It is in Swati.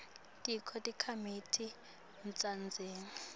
tonkhe takhamiti taseningizimu